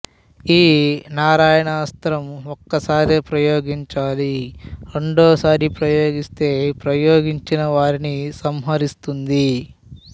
ఈ నారాయణాస్త్రం ఒక్క సారే ప్రయోగించాలి రెండవ సారి ప్రయోగిస్తే ప్రయోగించిన వారిని సంహరిస్తుంది